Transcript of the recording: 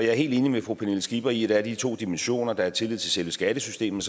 er helt enig med fru pernille skipper i at de to dimensioner der er tillid til selve skattesystemet